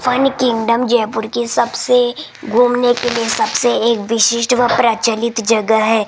Fun Kingdom Jaipur की सबसे घूमने के लिए सबसे एक विशिष्ट व प्रचलित जगह है।